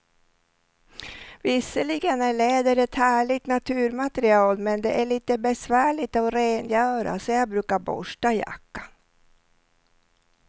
Visserligen är läder ett härligt naturmaterial, men det är lite besvärligt att rengöra, så jag brukar borsta jackan.